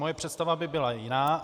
Moje představa by byla jiná.